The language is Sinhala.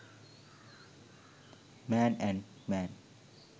man and man